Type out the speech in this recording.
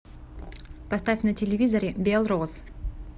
поставь на телевизоре белрос